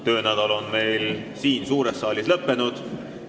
Töönädal siin suures saalis on lõppenud.